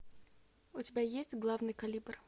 у тебя есть главный калибр